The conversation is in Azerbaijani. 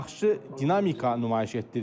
Yaxşı dinamika nümayiş etdirir.